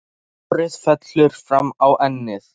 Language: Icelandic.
Og hárið fellur fram á ennið.